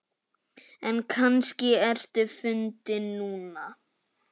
En kannski ertu fundin núna.